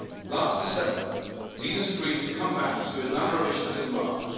Last December, leaders agreed to come back to a number of issues in March.